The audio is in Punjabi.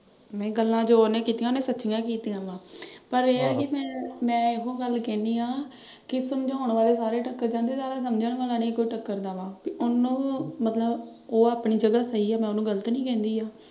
ਨਈਂ ਗੱਲਾਂ ਜੋ ਉਹਨੇ ਕੀਤੀਆਂ ਉਹਨੇ ਸੱਚੀਆਂ ਕੀਤੀਆਂ ਵਾਂ ਪਰ ਮੈਂ ਇਹ ਏ ਕਿ ਅਹ ਮੈਂ ਇਹੋ ਗੱਲ ਕਹਿਨੀ ਆਂ ਕਿ ਸਮਝਾਉਣ ਵਾਲੇ ਸਾਰੇ ਟੱਕਰ ਜਾਂਦੇ ਆ ਅਹ ਸਮਝਣ ਵਾਲਾ ਨਈਂ ਟੱਕਰਦਾ ਵਾ। ਉਹਨੂੰ ਮਤਲਬ ਉਹ ਆਪਣੀ ਜਗ੍ਹਾ ਸਹੀ ਆ, ਮੈਂ ਉਹਨੂੰ ਗ਼ਲਤ ਨਈਂ ਕਹਿੰਦੀ ਆ।